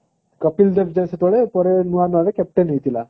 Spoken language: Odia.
କପିଲ ଦେବ ଯାଇ ସେତେବେଳେ ନୂଆ ନୂଆ captain ହେଇଥିଲା